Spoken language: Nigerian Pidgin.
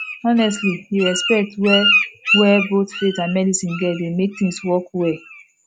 honestly di respect wey wey both faith and medicine get dey mek things work well